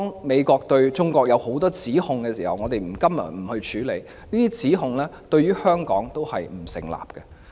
美國對中國提出的多項指控，我們今天不處理，因為對香港而言，這些指控都不成立。